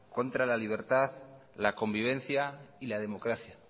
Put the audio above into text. contra la libertad la convivencia y la democracia